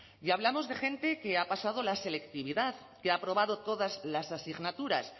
y hablamos de gente que ha pasado la selectividad que ha aprobado todas las asignaturas